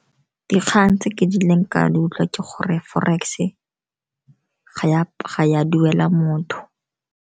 Dikgang tse ke kileng ka di utlwa ke gore forex-e ga ya duela motho.